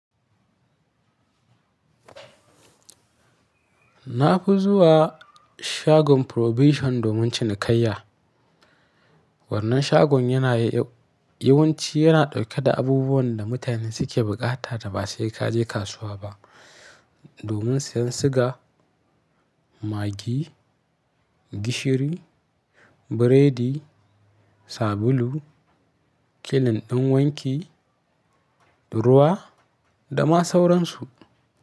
Na fi zuwa shagon Provision domin cinikaiya. Wannan shagon yana yawanci yana ɗauke da abubuwan da mutane suke buƙata da ba sai ka je kasuwa ba, domin siyan sugar, Maggi, gishiri, burodi, sabulu, kilin ɗin wanki, ruwa da ma sauran su.